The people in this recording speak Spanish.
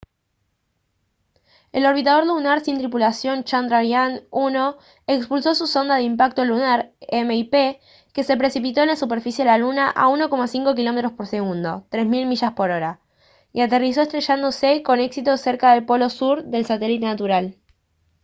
el orbitador lunar sin tripulación chandrayaan-1 expulsó su sonda de impacto lunar mip que se precipitó en la superficie de la luna a 1,5 kilómetros por segundo 3000 millas por hora y aterrizó estrellándose con éxito cerca del polo sur del satélite natural